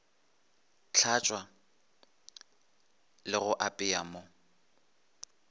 tlhatšwa le ga apeya mo